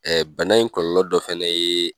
bana in kɔlɔlɔ dɔ fɛnɛ ye